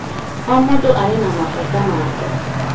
O mũndũ arĩ na mabata make